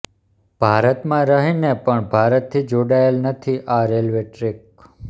ભારત માં રહીને પણ ભારત થી જોડાયેલ નથી આ રેલ્વે ટ્રેક